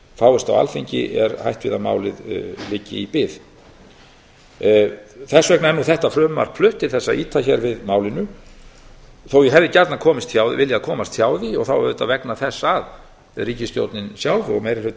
fáist á alþingi er hætt við að málið liggi í bið þess vegna er nú þetta frumvarp flutt til að ýta við málinu þótt ég hefði gjarnan viljað komast hjá því og þá auðvitað vegna þess að ríkisstjórnin sjálf og meiri hlutinn